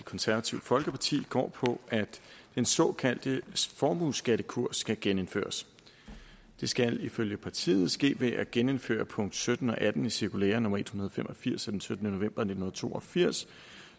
konservative folkeparti går ud på at den såkaldte formueskattekurs skal genindføres det skal ifølge partiet ske ved at genindføre punkt sytten og atten i cirkulære nummer en hundrede og fem og firs af den syttende november nitten to og firs